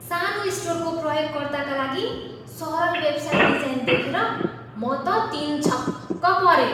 सानो स्टोरको प्रयोगकर्ताका लागि सरल वेबसाइट डिजाइन देखेर म त तिनछक परेँ।